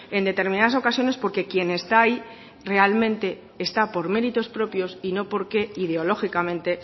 en determinadas ocasiones porque quien está ahí realmente está por méritos propios y no porque ideológicamente